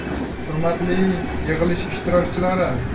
Hurmatli yig‘ilish ishtirokchilari!